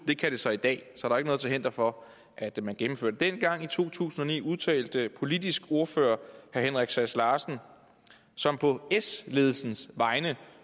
kan det så i dag så der noget til hinder for at man gennemfører det dengang i to tusind og ni udtalte politisk ordfører herre henrik sass larsen som på s ledelsens vegne